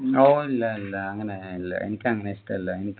ഓഹ് ഇല്ല ഇല്ല അങ്ങനെ ഇല്ല എനിക്ക് അങ്ങനെ ഇഷ്ടല്ല എനിക്ക്